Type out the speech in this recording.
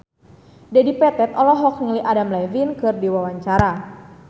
Dedi Petet olohok ningali Adam Levine keur diwawancara